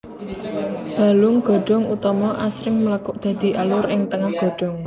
Balung godhong utama asring mlekuk dadi alur ing tengah godhong